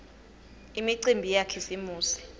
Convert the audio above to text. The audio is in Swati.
imicimbi yakhisimusi